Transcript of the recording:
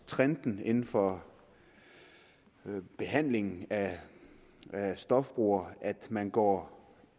trenden inden for behandlingen af stofbrugere at man går